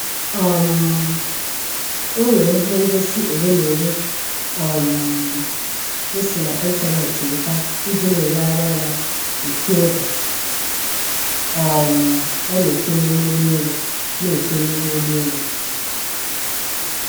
um Onwere ihe ngosi ole na ole um o si na ịntaneetị weta iji na-elegharị anya echi oge um ọ na-efe n'ime ụgbọelu na-efe n'ime ụgbọelu